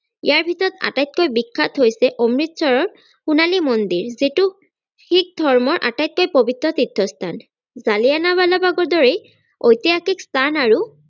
ইয়াৰ ভিতৰত আটাইতকৈ বিখ্যাত হৈছে অমৃতসৰৰ সোনালী মন্দিৰ যিটো শিখ ধৰ্মৰ আটাইতকৈ পবিত্ৰ তীৰ্থ স্থান জালিয়ানাবালাবাগৰ দৰেই ঐতিহাসিক স্থান আৰু